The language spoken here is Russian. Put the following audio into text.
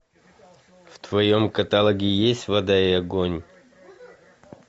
в твоем каталоге есть вода и огонь